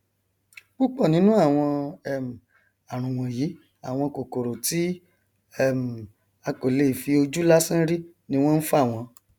púpọ nínú àwọn um àrùn wọnyí àwọn kòkòrò tí um a kò lè fi ojú lásán rí ni wọn nfà wọn